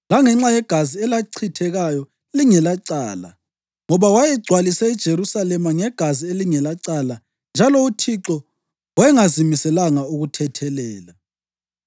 langenxa yegazi elachithekayo lingelacala. Ngoba wayegcwalise iJerusalema ngegazi elingelacala njalo uThixo wayengazimiselanga ukuthethelela.